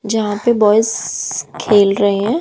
जहां पे बॉयज खेल रहे हैं।